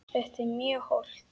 Þetta er mjög hollt.